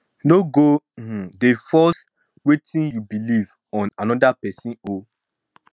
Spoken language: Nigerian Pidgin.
no go um dey force um wetin yu belief on top anoda pesin o